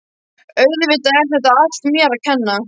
Auðvitað er þetta allt mér að kenna.